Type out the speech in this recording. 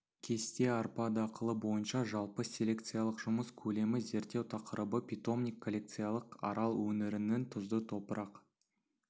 кесте арпа дақылы бойынша жалпы селекциялық жұмыс көлемі зерттеу тақырыбы питомник коллекциялық арал өңірінің тұзды топырақ